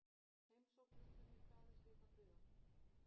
Heimsókn Viktoríu krafðist líka friðar.